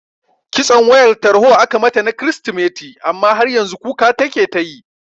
Kitson wayar tarho aka mata na kiristimeti amma har yanzu kuka take tayi